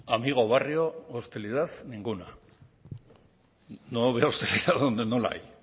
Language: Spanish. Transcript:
amigo barrio hostilidad ninguna no la verá usted donde no la hay